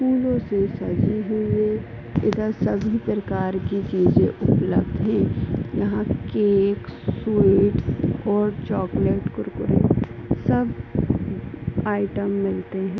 फूलो से सजी हुई है। इधर सभी प्रकार के चीजे उपलब्ध हैं। यहाँ केक स्वीट्स और चॉकलेट कुरकुरे सब आइटम् मिलते हैं।